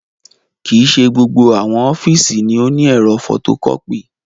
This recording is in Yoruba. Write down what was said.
Kii ṣe gbogbo awọn ọfiisi ni o ni ẹ̀rọ fotokọpi